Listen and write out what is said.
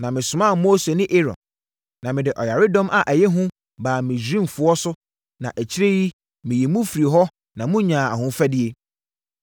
“Na mesomaa Mose ne Aaron, na mede ɔyaredɔm a ɛyɛ hu baa Misraimfoɔ no so na akyire yi, meyii mo firii hɔ ma monyaa ahofadie.